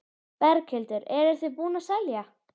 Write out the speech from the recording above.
Berghildur: Eruð þið búin að selja?